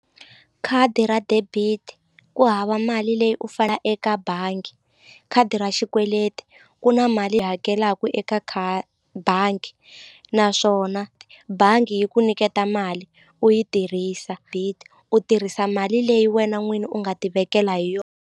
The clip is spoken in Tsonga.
Khadi ra debit ku hava mali leyi u eka bangi khadi ra xikweleti ku na mali hakelaka eka bangi naswona bangi yi ku nyiketa mali u yi tirhisa u tirhisa mali leyi wena n'wini u nga tivekela hi .